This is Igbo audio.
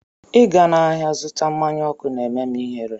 Ịga n'ahịa zụta mmanya ọkụ na-eme m ihere